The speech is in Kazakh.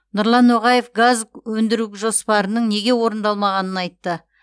нұрлан ноғаев газ өндіру жоспарының неге орындалмағанын айтты